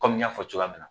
Kɔmi n y'a fɔ cogoya min na